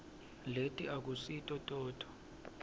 leti akusito todvwa